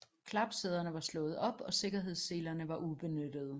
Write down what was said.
Klapsæderne var slået op og sikkerhedsselerne var ubenyttede